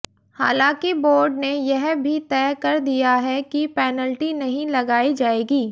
हालांकि बोर्ड ने यह भी तय कर दिया है कि पेनल्टी नहीं लगाई जाएगी